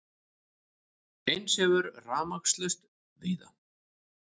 Eins hefur verið rafmagnslaust víða